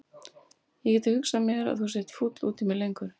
Ég get ekki hugsað mér að þú sért fúll út í mig lengur.